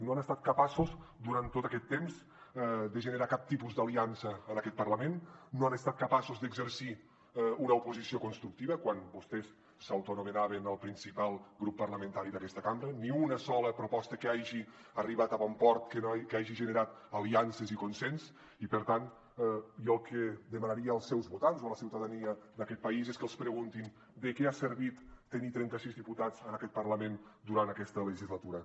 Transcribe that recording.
no han estat capaços durant tot aquest temps de generar cap tipus d’aliança en aquest parlament no han estat capaços d’exercir una oposició constructiva quan vostès s’autoanomenaven el principal grup parlamentari d’aquesta cambra ni una sola proposta que hagi arribat a bon port que hagi generat aliances i consens i per tant jo el que demanaria als seus votants o a la ciutadania d’aquest país és que els preguntin de què ha servit tenir trentasis diputats en aquest parlament durant aquesta legislatura